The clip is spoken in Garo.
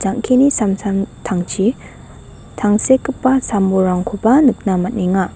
jang·kini samtangtangchi tangsekgipa sam bolrangkoba nikna man·enga.